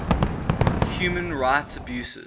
human rights abuses